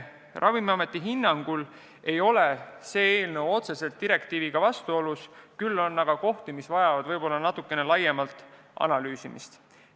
Ravimiameti hinnangul ei ole see eelnõu otseselt direktiiviga vastuolus, küll on aga eelnõus kohti, mis vajavad natukene laiemat analüüsimist.